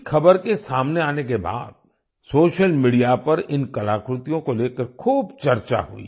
इस खबर के सामने आने के बाद सोशल मीडिया पर इन कलाकृतियों को लेकर खूब चर्चा हुई